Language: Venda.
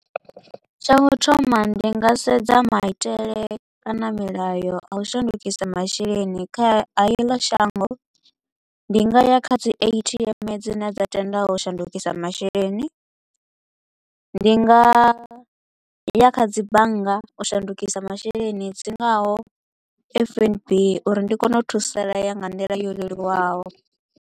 Tsha u thoma ndi nga sedza maitele kana milayo a u shandukisa masheleni kha heḽo shango. Ndi nga ya kha dzi A_T_M dzine dza tenda u shandukisa masheleni, ndi nga ya kha dzi bannga u shandukisa masheleni dzi ngaho F_N_B uri ndi kone u thusalea nga nḓila yo leluwaho.